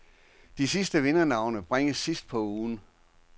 De sidste vindernavne bringes sidst på ugen.